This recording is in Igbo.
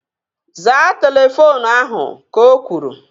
Zaa telefoonu ahu! Ka o kwuru